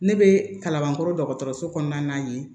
Ne bɛ kalanbankɔrɔ dɔgɔtɔrɔso kɔnɔna ye